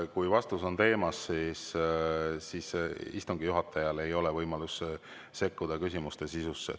Kui vastus on teemas, siis ei ole istungi juhatajal võimalust sekkuda küsimuste sisusse.